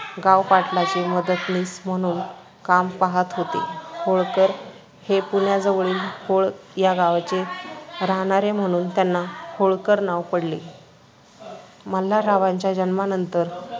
गावपाटलाचे मदतनीस म्हणून काम पाहत होते. होळकर हे पुण्याजवळील होळ या गावचे राहणारे, म्हणून त्यांना होळकर नाव पडले. मल्हाररावांच्या जन्मानंतर